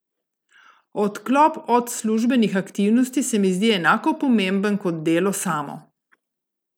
Odklop od službenih aktivnosti se mi zdi enako pomemben kot delo samo.